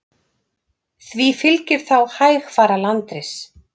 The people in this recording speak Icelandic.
Því fylgir þá hægfara landris.